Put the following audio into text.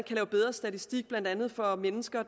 lave bedre statistik blandt andet for mennesker